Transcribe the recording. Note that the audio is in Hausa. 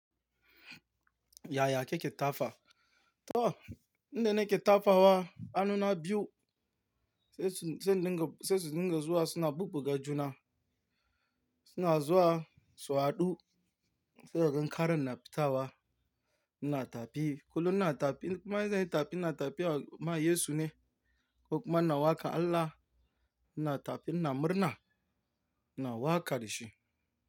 Yaya kake tafa? To, inda nake tafawa anuna biyu sai sai sai sun dinga zuwa suna bubbuga juna. Suna zuwa su haɗu sai kagan karen na fita wa ina tafi. Kullum na tafi in kuma idan nayi tafi ina tafi wa ma Yesu ne ko kuma na waka Allah na tafi na murna ina wakarshi.